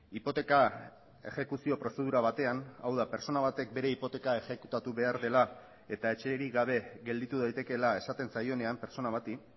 hipoteka exekuzio prozedura batean hau da pertsona batek bere hipoteka exekutatu behar dela eta etxerik gabe gelditu daitekeela esaten zaionean pertsona bati